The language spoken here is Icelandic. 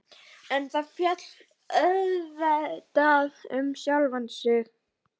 En það féll auðvitað um sjálft sig.